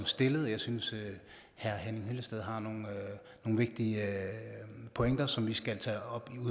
stillet jeg synes at herre henning hyllested har nogle vigtige pointer som vi skal tage op